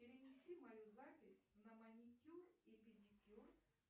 перенеси мою запись на маникюр и педикюр